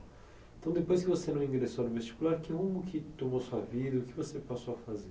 Então, depois que você não ingressou no vestibular, que rumo que tomou sua vida e o que você passou a fazer?